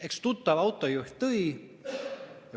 Eks tuttav autojuht tõi.